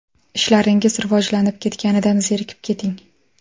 Ishlaringiz rivojlanib ketganidan zerikib keting!